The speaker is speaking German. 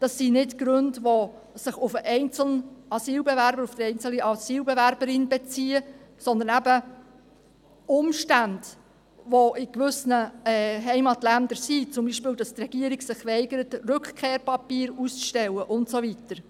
Das sind nicht Gründe, die sich auf den einzelnen Asylbewerber, auf die einzelne Asylbewerberin beziehen, sondern Umstände, die in gewissen Heimatländern bestehen, zum Beispiel, dass sich die Regierung weigert, Rückkehrpapiere auszustellen und so weiter.